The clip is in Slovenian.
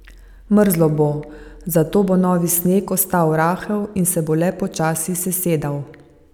Mrzlo bo, zato bo novi sneg ostal rahel in se bo le počasi sesedal.